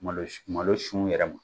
Malo sun yɛrɛ ma